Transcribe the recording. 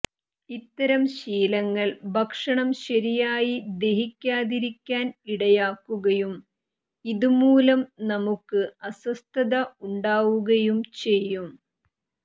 ഇത്തരം ശീലങ്ങൾ ഭക്ഷണം ശരിയായി ദഹിക്കാതിരിക്കാൻ ഇടയാക്കുകയും ഇതുമൂലം നമുക്ക് അസ്വസ്ഥത ഉണ്ടാവുകയും ചെയ്യും